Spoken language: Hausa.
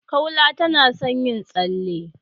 Kaula tana son yin tsalle.